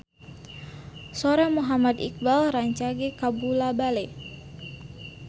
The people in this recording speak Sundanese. Sora Muhammad Iqbal rancage kabula-bale